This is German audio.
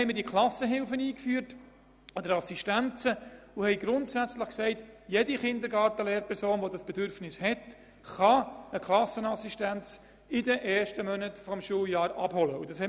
Deshalb haben wir diese Klassenhilfen eingeführt und haben gesagt, jede Kindergarten-Lehrperson, die dieses Bedürfnis habe, könne während der ersten Monate eine Klassen-Assistenz abholen.